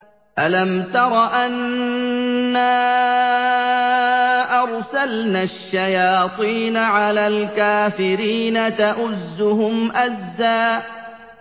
أَلَمْ تَرَ أَنَّا أَرْسَلْنَا الشَّيَاطِينَ عَلَى الْكَافِرِينَ تَؤُزُّهُمْ أَزًّا